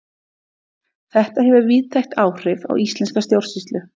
Þetta hefur víðtæk áhrif á íslenska stjórnsýslu.